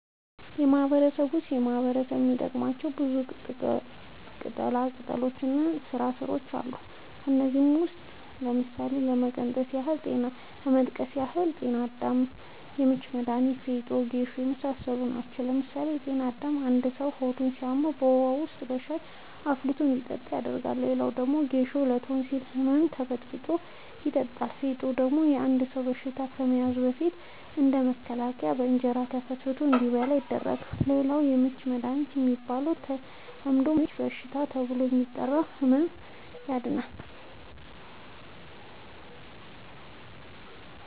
በማህበረሰቡ ውስጥ ማህበረሰቡ የሚጠቀማቸው ብዙ ቅጠላቅጠሎች እና ስራስሮች አሉ። ከእነዚህም ውስጥ ለምሳሌ ለመጥቀስ ያህል ጤናአዳም፣ የምች መዳኒት፣ ፌጦ፣ ጌሾ የመሳሰሉት ናቸው። ለምሳሌ ጤናአዳም አንድ ሰው ሆዱን ሲያመው በውሀ ወይም በሻይ አፍልቶ እንዲጠጣ ይደረጋል። ሌላው ደግሞ ጌሾ ለቶንሲል ህመም ተበጥብጦ የጠጣል። ፌጦ ደግሞ አንድ ሰው በሽታ ከመያዙ በፊት እንደ መከላከያ በእንጀራ ተፈትፍቶ እንዲበላ ይደረጋል። ሌላው የምች መዳኒት የሚባለው በተለምዶ ምች በሽታ ተብሎ የሚጠራውን ህም ያድናል።